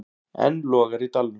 Enn logar í dalnum.